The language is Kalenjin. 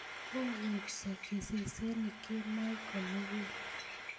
kooksoo sesenik kemoi komugul